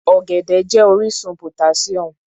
Ọ̀gẹ̀dẹ̀ jẹ́ orísun potassium.